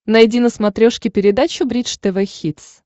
найди на смотрешке передачу бридж тв хитс